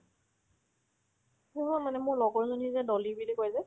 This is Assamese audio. অ', মানে মোৰ লগৰজনী যে ডলি বুলি কই যে